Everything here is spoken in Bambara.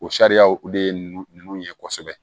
O sariyaw o de ye nunnu ye kosɛbɛ